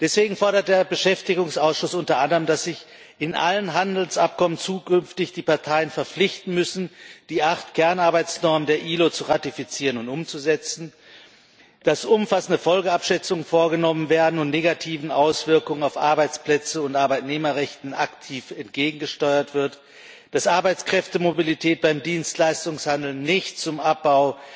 Deswegen fordert der Beschäftigungsausschuss unter anderem, dass sich in allen Handelsabkommen die Parteien künftig verpflichten müssen, die acht Kernarbeitsnormen der IAO zu ratifizieren und umzusetzen, dass umfassende Folgeabschätzungen vorgenommen werden und negativen Auswirkungen auf Arbeitsplätze und Arbeitnehmerrechte aktiv entgegengesteuert wird, dass Arbeitskräftemobilität beim Dienstleistungshandel nicht zum Abbau